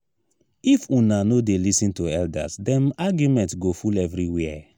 if una no dey lis ten to elders dem argument go full everywhere.